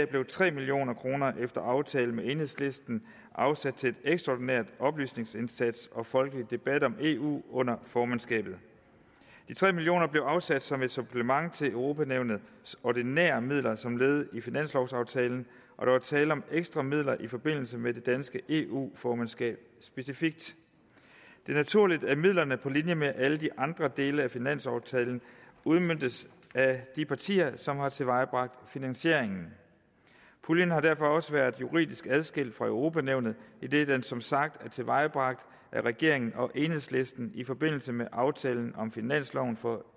blev tre million kroner efter aftale med enhedslisten afsat til en ekstraordinær oplysningsindsats og folkelig debat om eu under formandskabet de tre million kroner blev afsat som et supplement til europa nævnets ordinære midler som led i finanslovaftalen og der var tale om ekstra midler i forbindelse med det danske eu formandskab specifikt det er naturligt at midlerne på linje med alle de andre dele af finanslovaftalen udmøntes af de partier som har tilvejebragt finansieringen puljen har derfor også været juridisk adskilt fra europa nævnet idet den som sagt er tilvejebragt af regeringen og enhedslisten i forbindelse med aftalen om finansloven for